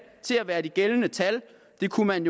til at være de gældende tal og det kunne man